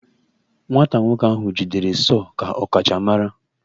Nwata nwoke ahụ jidere sọọ ka ọkachamara